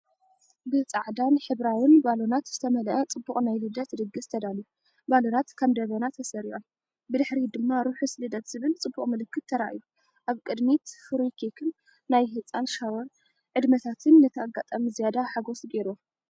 ብጻዕዳውን ሕብራዊን ባሎናት ዝተመልአ ጽቡቕ ናይ ልደት ድግስ ተዳልዩ። ባሎናት ከም ደበና ተሰሪዖም፡ ብድሕሪት ድማ “ርሑስ ልደት” ዝብል ጽቡቕ ምልክት ተራእዩ። ኣብ ቅድሚት ፍሩይ ኬክን ናይ ህጻን ሻወር ዕድመታትን ነቲ ኣጋጣሚ ዝያዳ ሓጎስ ገይርዎ።